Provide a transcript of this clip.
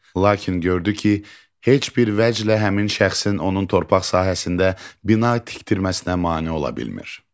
Lakin gördü ki, heç bir vəchlər həmin şəxsin onun torpaq sahəsində bina tikdirməsinə mane ola bilmir.